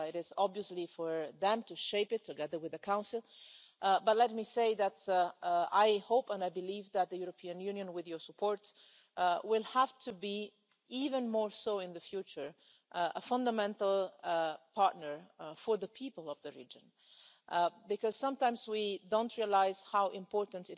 It is obviously for them to shape it, together with the Council, but let me say that I hope and I believe that the European Union, with your support, will have to be even more so in the future a fundamental partner for the people of the region, because sometimes we don't realise how important